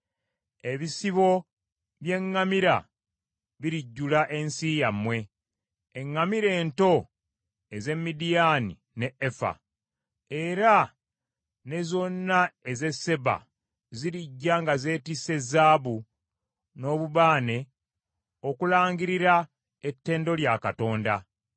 Ebisibo by’eŋŋamira birijjula ensi yammwe, eŋŋamira ento ez’e Midiyaani ne Efa. Era ne zonna ez’e Seba zirijja nga zeetisse zaabu n’obubaane okulangirira ettendo lya Katonda.